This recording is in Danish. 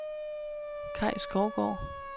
Kai Skovgaard